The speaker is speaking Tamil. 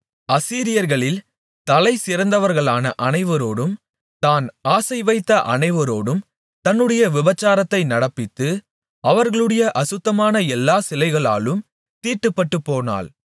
அசீரியர்களில் தலைசிறந்தவர்களான அனைவரோடும் தான் ஆசைவைத்த அனைவரோடும் தன்னுடைய விபசாரத்தை நடப்பித்து அவர்களுடைய அசுத்தமான எல்லா சிலைகளாலும் தீட்டுப்பட்டுப்போனாள்